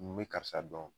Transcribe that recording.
N be karisa dɔn